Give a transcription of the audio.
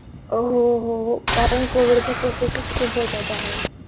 अं हो हो कारण covid च्या cases खूप होत्या त्या वेळेला